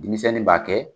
Denmisɛnnin b'a kɛ